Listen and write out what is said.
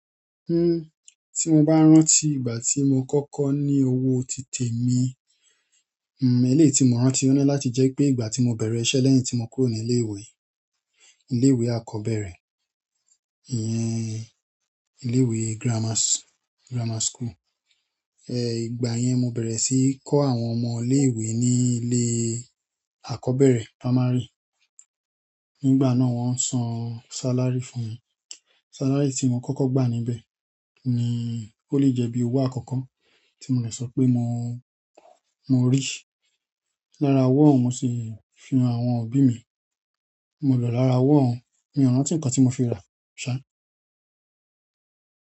Hmm, tí mo bá rántí ìgbà tí mo kọ́kọ́ ní owó ti tẹ̀mi, hmm, eléyìí tí mo rántí ọ́ ni láti jẹ́ wipé ìgbà tí mo bẹ̀rẹ̀ iṣẹ́ lẹ́yìn tí mo kúrò ní ilé ìwé, ilé ìwé akọ́bẹ̀rẹ̀, ìyẹn ilé ìwé grammar, grammar school. Ẹ, ìgbà yẹn mo bẹ̀rẹ̀ sí í kọ́ àwọn ọmọ ilé ìwé ní ilé akọ́bẹ̀rẹ̀ primary. Nígbà náà wọ́n n san salary fún mi. Salary tí mo kọ́kọ́ gbà níbẹ̀ ni ó lè jẹ́ bí owó àkọ́kọ́ tí mo le sọ pé mo, mo rí. Lára owó òun mo sì fi han àwọn òbí mi, mo lò lára owó òun, mi o rántí nínkan tí mo fi rà, ṣá.